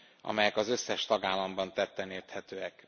amelyek az összes tagállamban tetten érhetőek.